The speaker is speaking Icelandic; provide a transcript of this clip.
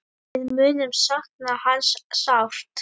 Við munum sakna hans sárt.